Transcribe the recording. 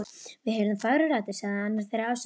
Við heyrðum fagrar raddir sagði annar þeirra afsakandi.